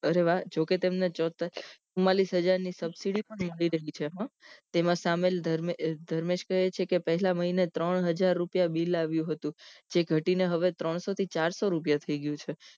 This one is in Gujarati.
અરે વાહ જોકે તેમને ચુમાંલીશ હજાર ની subsidy પણ anchorite કરી છે હો તેમાં સામેલ ધર્મેશ કહે છે કે પહેલા મહીને ત્રણ હજાર રુપિયા બીલ આવ્યું હતું જે ઘટીને હવે ત્રણસો થી ચારસો રૂપિયા થઇ ગયું છે